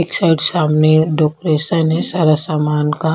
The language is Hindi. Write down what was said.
एक साइड सामने डेकोरेशन है सारा सामान का।